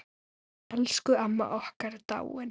Elsku amma okkar er dáin.